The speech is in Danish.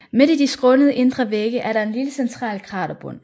Midt i de skrånende indre vægge er der en lille central kraterbund